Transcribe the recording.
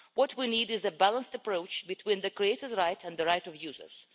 What we need is a balanced approach between the creator's right and the right of users.